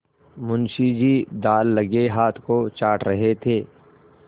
मुंशी जी दाललगे हाथ को चाट रहे थे